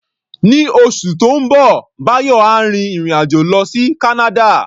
Ní oṣù tó ń bọ̀, Báyọ̀ á rin ìrìn-àjò lọ sí Canada.